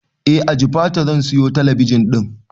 Eh a jifatu zan siyo talabijin din